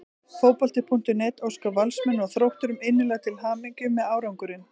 Fótbolti.net óskar Valsmönnum og Þrótturum innilega til hamingju með árangurinn.